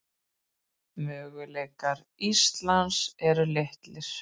Möguleikar Íslands eru litlir